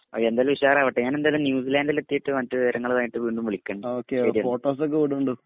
ആ എന്തായാലും ഉശാറാവട്ടെ ഞാൻ എന്തായാലും ന്യൂസിലാൻഡ് എത്തീട്ട് മറ്റ് വിവരങ്ങളുമായിട്ട് വീണ്ടും വിളിക്കണ്ട് ശരിയെന്ന.